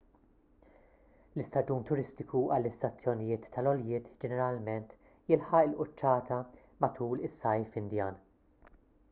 l-istaġun turistiku għall-istazzjonijiet tal-għoljiet ġeneralment jilħaq il-quċċata matul is-sajf indjan